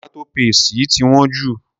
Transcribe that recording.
Tomato paste yìí ti wón ju.